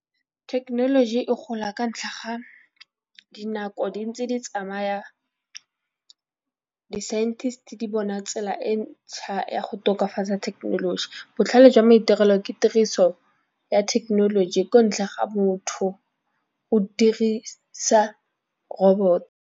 Thekenoloji e gola ka ntlha ga dinako di ntse di tsamaya. Di-scientist di bona tsela e ntšha ya go tokafatsa thekenoloji botlhale jwa maitirelo ke tiriso ya thekenoloji ko ntlha ga botho o dirisa robot.